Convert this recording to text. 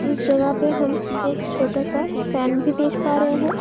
इस जगह पे हम एक छोटा-सा एक फैन भी देख पा रहे है।